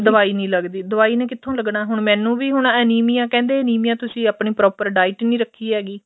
ਦਵਾਈ ਨੀ ਲੱਗਦੀ ਦਵਾਈ ਨੇ ਕਿੱਥੋ ਲੱਗਣਾ ਹੁਣ ਮੈਂਨੂੰ ਵੀ ਅਨੀਮੀਆ ਕਹਿੰਦੇ ਅਨੀਮੀਆ ਤੁਸੀਂ ਆਪਣੀ proper diet ਨੀ ਰੱਖੀ ਹੈਗੀ